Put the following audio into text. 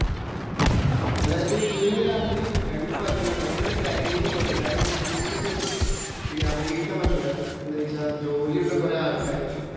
അതായത് മൂന്നു രാത്രിയും രണ്ടു പകലും ആണ്. അങ്ങനെയാണ് പ്ലാന്‍ ചെയ്തു പോയത്. കാരണം, കൂടുതല് ദിവസം പിന്നെ അവധി എടുക്കാന്‍ പറ്റൂല. എന്തു വച്ചാല്‍ ജോലി ഉള്ള കൊറേ ആള്‍ക്കാര് ഉണ്ട്.